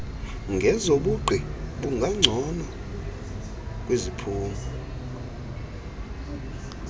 ngezobugqi bungangcono kwiziphumo